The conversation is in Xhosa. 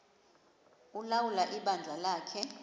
ulawula ibandla lakhe